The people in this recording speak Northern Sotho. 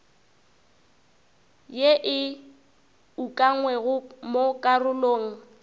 ye e ukangwego mo karolong